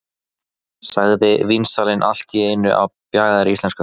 sagði vínsalinn allt í einu á bjagaðri íslensku.